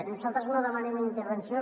nosaltres no demanem intervenció